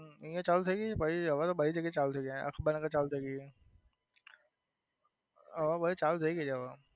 હમ ચાલુ થઇ પછી હવે બધી જગ્યા એ ચાલુ થઇ ગઈ અખબાર નગર ચાલુ થઇ ગઈ. હા બધે ચાલુ થઇ ગઈ છે હવે.